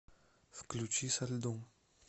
включи со льдом